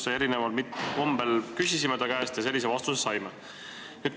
Me küsisime ta käest erineval kombel ja saime sellise vastuse.